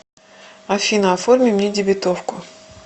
афина оформи мне дебетовку